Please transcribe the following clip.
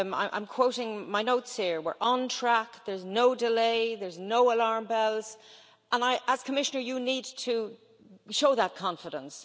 I'm quoting my notes here we're on track, there's no delay, there are no alarm bells and, as Commissioner, you need to show that confidence.